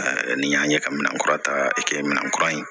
n'i y'a ye ka minan kura ta kɛ minɛnkura ye